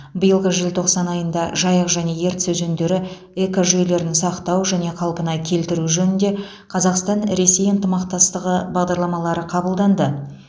биылғы желтоқсан айында жайық және ертіс өзендері экожүйелерін сақтау және қалпына келтіру жөнінде қазақстан ресей ынтымақтастығы бағдарламалары қабылданды